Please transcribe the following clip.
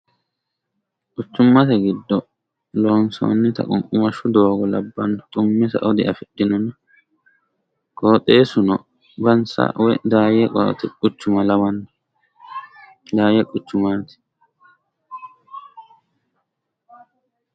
Quchumate giddo loonsonnita qunqumashshu doogo labbanno xumme sao diafidhinonna qoxxeesuno Bansi woy Daaye quchuma lawanno, daayye quchumaati.